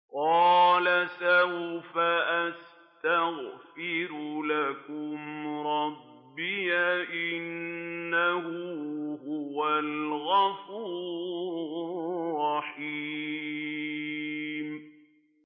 قَالَ سَوْفَ أَسْتَغْفِرُ لَكُمْ رَبِّي ۖ إِنَّهُ هُوَ الْغَفُورُ الرَّحِيمُ